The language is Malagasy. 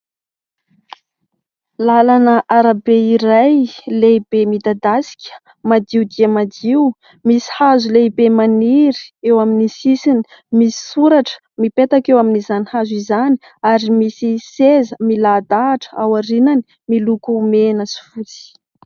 Lalana arabe iray lehibe midadasika madio dia madio, misy hazo lehibe maniry eo amin'ny sisiny, misy soratra mipetaka eo amin'izany hazo izany ary misy seza milahadahatra ao aorianany miloko mena sy fotsy.